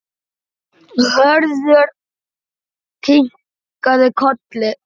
Hörður kinkaði kolli.